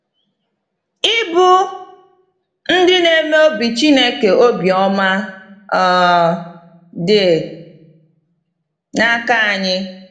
Ịbụ ‘Ndị Na-eme Obi Chineke Obi Ọma’ um Dị N’aka Anyị.